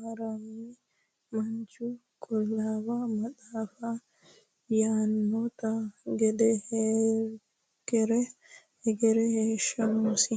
maramino manchi qulawu matafi yanonite gede hegere hesho nosi.